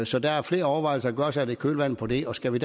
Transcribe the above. så der er flere overvejelser at gøre sig i kølvandet på det og skal vi